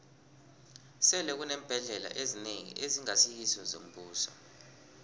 sele kuneembhendlela ezinengi ezingasi ngezombuso